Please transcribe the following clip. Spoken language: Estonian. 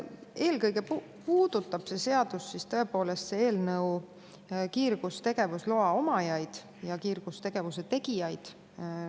Eelkõige puudutab see seaduseelnõu tõepoolest kiirgustegevusloa omajaid ja kiirgustegevuse tegijaid.